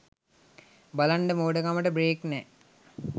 බලන්න මෝඩකමට බ්රේක් නෑ